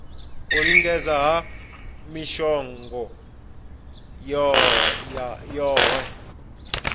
u lingedza ha mishongo yohe